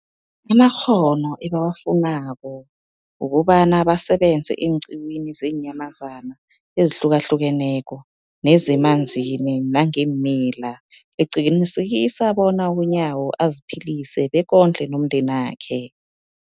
amakghono ebawafunako ukobana basebenze eenqiwini zeenyamazana ezihlukahlukeneko nezemanzini nangeemila, liqinisekisa bona uNyawo aziphilise bekondle nomndenakhe.